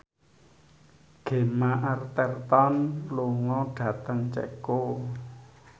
Gemma Arterton lunga dhateng Ceko